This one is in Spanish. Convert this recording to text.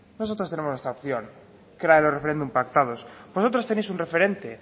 nosotros tenemos nuestra opción que eran los referéndums pactados vosotros tenéis un referente